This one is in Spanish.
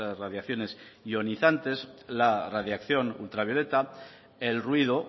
radiaciones ionizantes la radiación ultravioleta el ruido